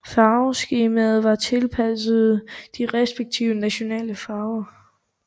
Farveskemaet var tilpasset de respektive nationale farver